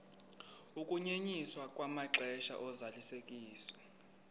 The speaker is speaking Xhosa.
ukunyenyiswa kwamaxesha ozalisekiso